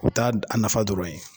O taa a nafa dɔrɔn ye